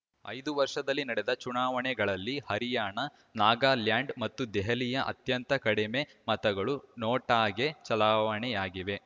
ಐದು ವರ್ಷದಲ್ಲಿ ನಡೆದ ಚುನಾವಣೆಗಳಲ್ಲಿ ಹರಿಯಾಣ ನಾಗಾಲ್ಯಾಂಡ್‌ ಮತ್ತು ದೆಹಲಿಯಲ್ಲಿ ಅತ್ಯಂತ ಕಡಿಮೆ ಮತಗಳು ನೋಟಾಗೆ ಚಲಾವಣೆಯಾಗಿವೆ